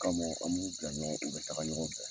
kama an b'u bila ɲɔgɔn u bɛ taga ɲɔgɔn fɛ.